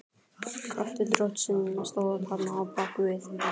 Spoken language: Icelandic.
Kraftur Drottins stóð þarna á bak við.